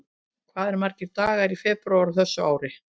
Hvað eru margir dagar í febrúar á þessu ári?